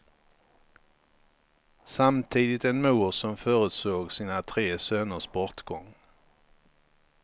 Samtidigt en mor som förutsåg sina tre söners bortgång.